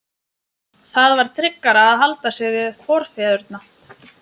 Það var tryggara að halda sig við forfeðurna.